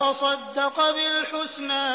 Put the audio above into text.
وَصَدَّقَ بِالْحُسْنَىٰ